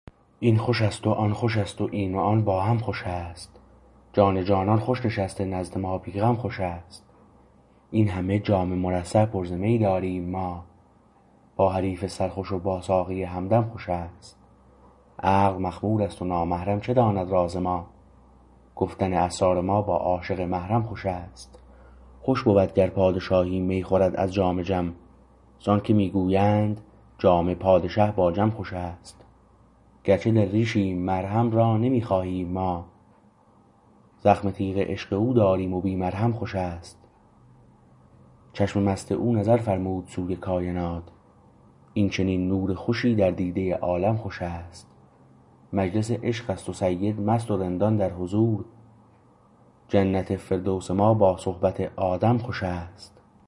این خوشست و آن خوشست و این و آن با هم خوشست جان جانان خوش نشسته نزد ما بی غم خوشست این همه جام مرصع پر ز می داریم ما با حریف سرخوش و با ساقی همدم خوشست عقل مخمور است و نامحرم چه داند راز ما گفتن اسرار ما با عاشق محرم خوشست خوش بود گر پادشاهی می خورد از جام جم زانکه میگویند جام پادشه با جم خوشست گرچه دل ریشیم مرهم را نمی خواهیم ما زخم تیغ عشق او داریم و بی مرهم خوش است چشم مست او نظر فرمود سوی کاینات این چنین نور خوشی در دیده عالم خوش است مجلس عشقست و سید مست و رندان در حضور جنت فردوس ما با صحبت آدم خوش است